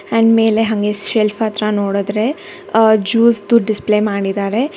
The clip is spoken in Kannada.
ಅಂಡ್ ಮೇಲೆ ಹಂಗೆ ಶೆಲ್ಫ್ ಹತ್ರ ನೋಡುದ್ರೆ ಅ ಜ್ಯೂಸ್ದು ಡಿಸ್ಪ್ಲೇ ಮಾಡಿದ್ದಾರೆ.